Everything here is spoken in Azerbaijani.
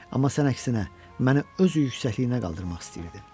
Amma sən əksinə məni öz yüksəkliyinə qaldırmaq istəyirdin.